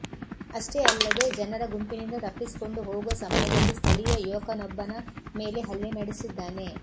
ಅಷ್ಟೇ ಅಲ್ಲದೆ ಜನರ ಗುಂಪಿನಿಂದ ತಪ್ಪಿಸಿಕೊಂಡು ಹೋಗುವ ಸಮಯದಲ್ಲಿ ಸ್ಥಳೀಯ ಯುವಕನೊಬ್ಬನ ಮೇಲೆ ಹಲ್ಲೆ ನಡೆಸಿದ್ದಾನೆ